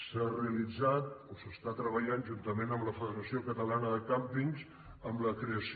s’ha realitzat o s’està treballant juntament amb la federació catalana de càmpings en la creació